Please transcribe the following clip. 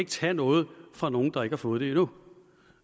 tage noget fra nogen der ikke har fået det endnu